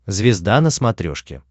звезда на смотрешке